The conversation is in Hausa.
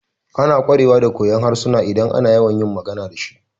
Ana ƙwarewa da koyon harsuna idan ana yawan magana dashi